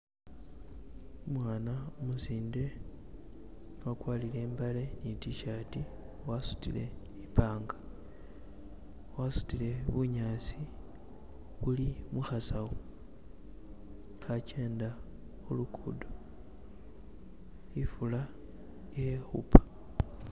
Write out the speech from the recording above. umwana umusinde wakwarire imbale nitishati wasutile nipanga wasutile bunyasi buli muhasawo hakyenda hulukudo ifula ili hupa